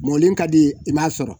Mɔɔni ka di i m'a sɔrɔ